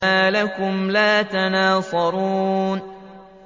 مَا لَكُمْ لَا تَنَاصَرُونَ